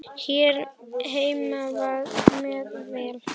Hér heima með Val.